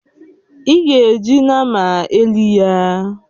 Ị ga-eji nnama elị ya!